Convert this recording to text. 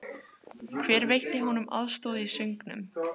Hver veitti honum aðstoð í söngnum?